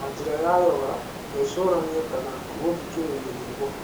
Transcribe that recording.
na njĩra ya yoga, gwĩcũrania kana gũthikĩrĩria nyĩmbo.